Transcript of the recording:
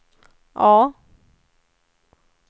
A